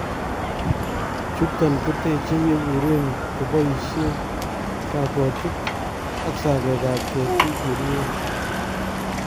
chuton kotechee yebureen kobaishen sakootik ak sakeekab ketit yeruuen